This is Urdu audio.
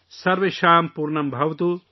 سرویشم پورنم بھواتو